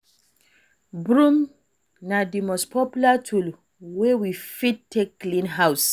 Broom na di most popular tool wey we fit take clean house